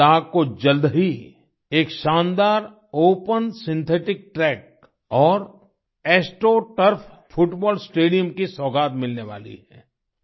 लड़ख को जल्द ही एक शानदार ओपन सिंथेटिक ट्रैक और एस्ट्रो टर्फ फुटबॉल स्टेडियम की सौगात मिलने वाली है